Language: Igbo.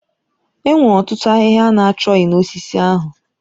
Enwere otutu ahịhịa ana chọghị na osisi ahụ.